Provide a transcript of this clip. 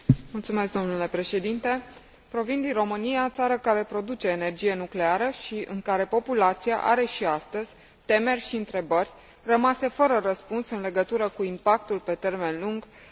Provin din România, țară care produce energie nucleară și în care populația are și astăzi temeri și întrebări rămase fără răspuns în legătură cu impactul pe termen lung al accidentului de la Cernobâl.